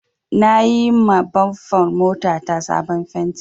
Na yima bamfar mota ta sabon fenti